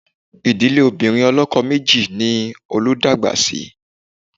Ìdílé obìnrin ọlọ́kọ méjì ni Olú dàgbà sí